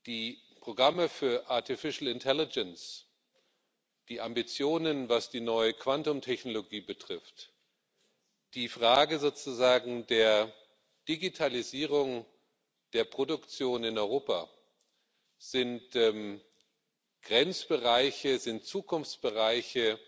Die Programme für artificial intelligence die Ambitionen, was die neue Quantumtechnologie betrifft, die Fragen der Digitalisierung, der Produktion in Europa sind Grenzbereiche, sind Zukunftsbereiche